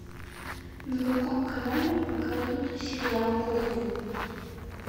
на каком канале показывают сериал кухня